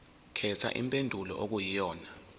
khetha impendulo okuyiyona